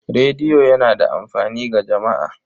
Rediyo yana da amfani ga jama'a.